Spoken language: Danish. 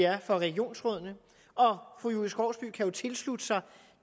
er for regionsrådene fru julie skovsby kan jo tilslutte sig